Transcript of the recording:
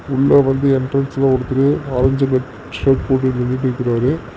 உள்ள வந்து என்ட்ரன்ஸ்ல ஒருத்தரு ஆரஞ்ச் கலர் ஷேர்ட் போட்டுட்டு நின்னுட்ருக்காரு.